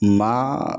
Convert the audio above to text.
Maa